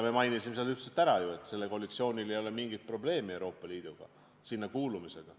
Me mainisime üldiselt ju ära, et sellel koalitsioonil ei ole mingit probleemi Euroopa Liiduga, sinna kuulumisega.